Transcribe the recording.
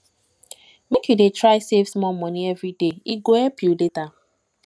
make you dey try save small moni everyday e go help you later